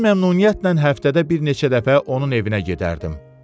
Mən məmnuniyyətlə həftədə bir neçə dəfə onun evinə gedərdim.